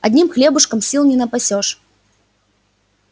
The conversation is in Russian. одним хлебушком сил не напасёшь